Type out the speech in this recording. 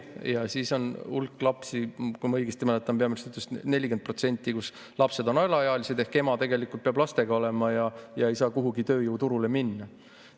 Ja siis on hulk lapsi – kui ma õigesti mäletan, neid on 40% –, kes on, ehk ema peab nendega olema ega saa kuhugi tööjõuturule minna.